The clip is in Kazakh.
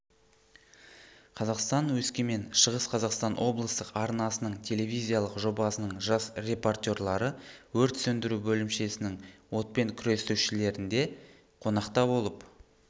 қазақстан-өскемен шығыс қазақстан облыстық арнасының телевизиялық жобасының жас репортерлары өрт сөндіру бөлімшесінің отпен күресушілерінде қонақта болып